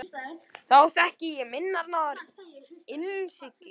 Þá þekki ég minnar náðar innsigli.